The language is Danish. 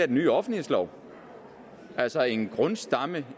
den nye offentlighedslov altså en grundstamme